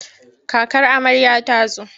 Kakar amarya ta zo.